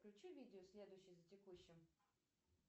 включи видео следующее за текущим